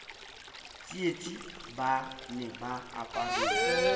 tsietsi ba ne ba aparetswe